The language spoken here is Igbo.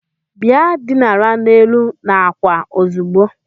Bịa dinara n'elu n'àkwà ozugbo!